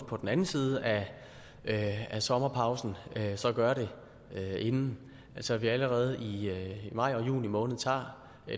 på den anden side af af sommerpausen gør det inden så vi allerede i maj og juni måned tager